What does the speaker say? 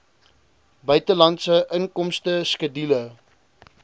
buitelandse inkomste skedule